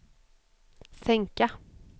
sänka